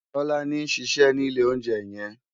Tolani n ṣiṣè ni ilé óunjè yèn